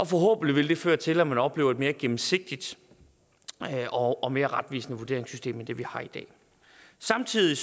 forhåbentlig vil det føre til at man oplever et mere gennemsigtigt og og mere retvisende vurderingssystem end det vi har i dag samtidig